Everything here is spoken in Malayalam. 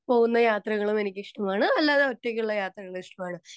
സ്പീക്കർ 2 പോകുന്ന യാത്രകളും എനിക്ക് ഇഷ്ടമാണ് അല്ലാതെ ഒറ്റക്കുള്ള യാത്രകളും ഇഷ്ടമാണ്